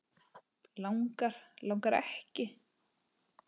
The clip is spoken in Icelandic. Langar, langar ekki.